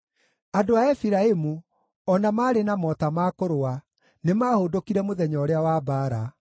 Andũ a Efiraimu, o na maarĩ na mota ma kũrũa, nĩmahũndũkire mũthenya ũrĩa wa mbaara;